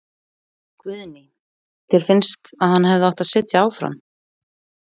Guðný: Þér finnst að hann hefði átt að sitja áfram?